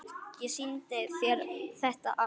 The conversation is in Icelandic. Ég sýndi þér þetta allt.